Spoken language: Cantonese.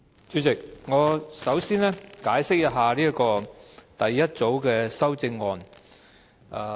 主席，首先，我要解釋第一組修正案。